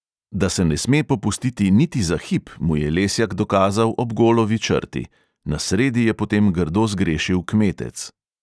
Da se ne sme popustiti niti za hip, mu je lesjak dokazal ob golovi črti – na sredi je potem grdo zgrešil kmetec.